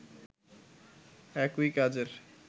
একই কাজের